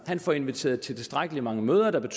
får inviteret til tilstrækkelig mange møder der